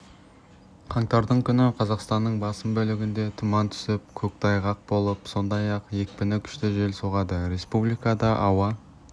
қаңтардың күні қазақстанның басым бөлігінде тұман түсіп көктайғақ болып сондай-ақ екпіні күшті жел соғады республикада ауа